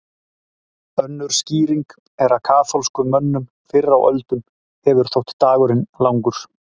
Önnur skýring er að kaþólskum mönnum fyrr á öldum hefur þótt dagurinn langur.